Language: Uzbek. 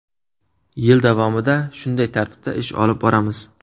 Yil davomida shunday tartibda ish olib boramiz.